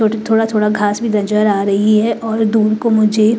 थो थोड़ा-थोड़ा घास भी नजर आ रही है और दूर को मुझे--